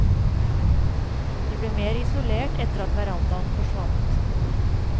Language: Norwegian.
De ble mer isolert etter at verandaen forsvant.